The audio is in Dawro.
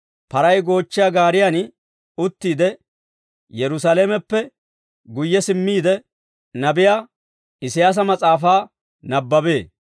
Paray goochchiyaa gaariyaan uttiide, Yerusaalameppe guyye simmiide, nabiyaa Isiyaasa mas'aafaa nabbabee.